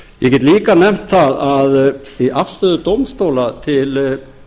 ég get líka nefnt það að í afstöðu dómstóla til